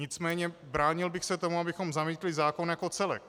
Nicméně bránil bych se tomu, abychom zamítli zákon jako celek.